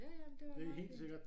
Ja ja men det var meget fint